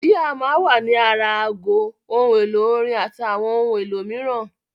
Jíà máa ń wà ní ara aago, ohun èlò-orin àti àwọn ohun èlò mìíràn.